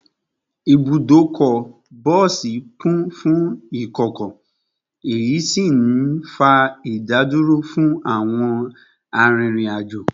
Ibùdókọ̀ bọ́ọ̀sì kún fún ìkọ̀kọ̀, èyí sì ń fa ìdádúró fún àwọn arìnrìn-àjò